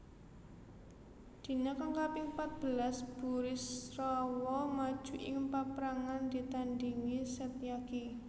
Dina kang kaping patbelas Burisrawa maju ing paprangan ditandhingi Setyaki